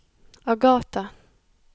Agathe